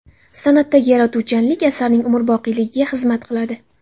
San’atdagi yaratuvchanlik asarning umrboqiyligiga xizmat qiladi.